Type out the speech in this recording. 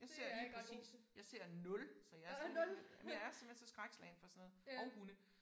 Jeg ser lige præcis jeg ser 0 så jeg sådan lidt men jeg er simpelthen så skrækslagen for sådan noget og hunde